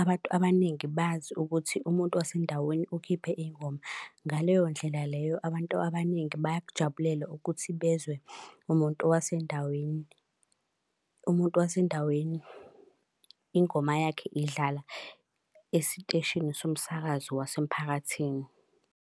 abantu abaningi bazi ukuthi umuntu wasendaweni ukhiphe iy'ngoma. Ngaleyo ndlela leyo abantu abaningi bayakujabulela ukuthi bezwe umuntu wasendaweni. Umuntu wasendaweni, ingoma yakhe idlala esiteshini somsakazo wasemphakathini.